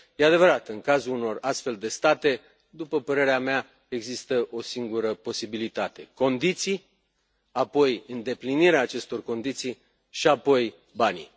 E adevărat, în cazul unor astfel de state, după părerea mea, există o singură posibilitate condiții, apoi îndeplinirea acestor condiții și apoi banii.